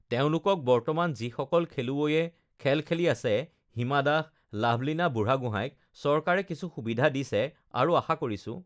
তেওঁলোকক বৰ্তমান যিসকল খেলুৱৈয়ে খেল খেলি আছে, হিমা দাস, লাভলীনা বুঢ়াগোহাঁইক চৰকাৰে কিছু সুবিধা দিছে আৰু আশা কৰিছোঁ